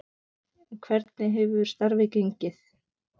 En hvernig hefur starfið gengið?